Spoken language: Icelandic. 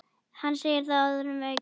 Hann segir það orðum aukið.